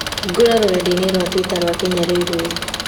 Hingũra rũrenda-inī rũa tũita rwa Kenya railways